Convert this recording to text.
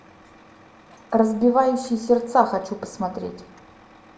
разбивающий сердца хочу посмотреть